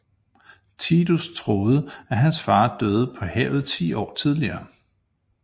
Tidus troede at hans far døde på havet ti år tidligere